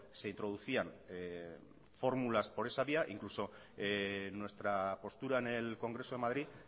se introducían fórmulas por esa vía incluso nuestra postura en el congreso de madrid